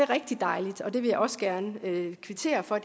rigtig dejligt og det vil jeg også gerne kvittere for